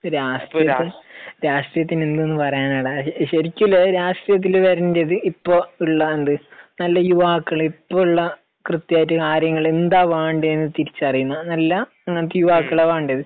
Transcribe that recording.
രാഷ്ട്രീയത്തിന്റെ, രാഷ്ട്രീയത്തിന്റെ എന്തുന്നു പറയാനാടാ? ശരിക്ക് ഉള്ള രാഷ്രീയത്തിൽ വരേണ്ടത് ഇപ്പോൾ ഉള്ളാണ്ട് നല്ല യുവാക്കൾ, ഇപ്പം ഉള്ള കൃത്യായിട്ട് കാര്യങ്ങൾ എന്താ വേണ്ടത് എന്ന് തിരിച്ചറിയുന്ന നല്ല, അങ്ങനത്തെ യുവാക്കളാ വേണ്ടത്.